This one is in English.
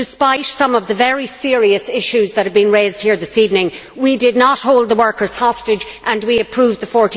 Despite some of the very serious issues that have been raised here this evening, we did not hold the workers hostage and we approved the EUR